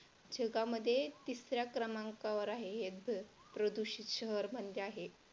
जगामध्ये तिसऱ्या क्रमांकावर आहे हे प्रदूषित शहर मध्ये आहे.